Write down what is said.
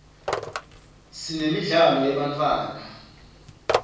siremidlalo yebantfwana